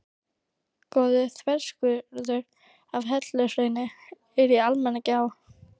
Góður þverskurður af helluhrauni er í Almannagjá.